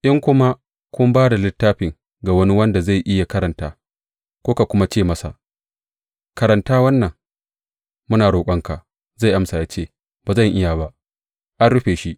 In kuma kun ba da littafin ga wani wanda zai iya karanta, kuka kuma ce masa, Karanta wannan, muna roƙonka, zai amsa ya ce, Ba zan iya ba; an rufe shi.